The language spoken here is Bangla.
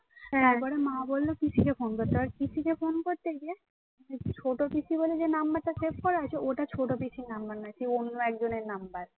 ছোট পিসি বলে যে number টা save করা আছে, ওটা ছোট পিসি number নয় সে অন্য একজনের number